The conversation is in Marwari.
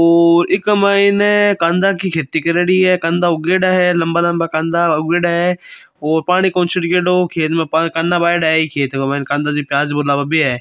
ओह् इक मायने कांदा की खेती करियोडी है कांदा उगियोडा है लम्बा लम्बा कांदा उगेड़ा है और पानी कोनी छिड़कियोडो खेत मे कंदा बोएडा खेत मे कांदा नही प्याज़ बोला बे है।